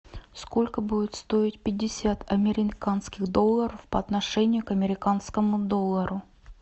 сколько будет стоить пятьдесят американских долларов по отношению к американскому доллару